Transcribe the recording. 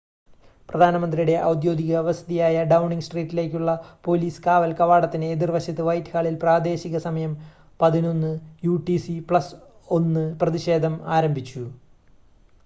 പ്രധാനമന്ത്രിയുടെ ഔദ്യോഗിക വസതിയായ ഡൗണിംഗ് സ്ട്രീറ്റിലേക്കുള്ള പോലീസ് കാവൽ കവാടത്തിന് എതിർവശത്ത് വൈറ്റ്ഹാളിൽ പ്രാദേശിക സമയം 11:00 യുടിസി + 1 പ്രതിഷേധം ആരംഭിച്ചു